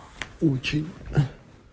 очень